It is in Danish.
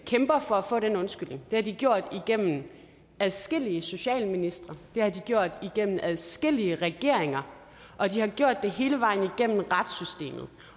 kæmper for at få den undskyldning og har de gjort igennem adskillige socialministre det har de gjort igennem adskillige regeringer og de har gjort det hele vejen igennem retssystemet